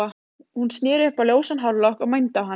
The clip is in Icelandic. Hún sneri upp á ljósan hárlokk og mændi á hann.